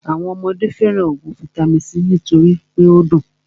Àwọn ọmọdé fẹràn óògùn vaitami c nítorí pé o dùn.